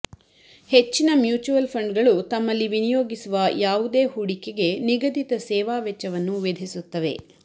ಹೆಚ್ಚಿನ mutual fund ಗಳು ತಮ್ಮಲ್ಲಿ ವಿನಿಯೋಗಿಸುವ ಯಾವುದೇ ಹೂಡಿಕೆಗೆ ನಿಗದಿತ ಸೇವಾವೆಚ್ಚವನ್ನು ವಿಧಿಸುತ್ತವೆ